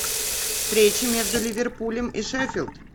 встреча между ливерпулем и шеффилд